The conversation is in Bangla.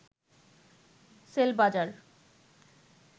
সেলবাজার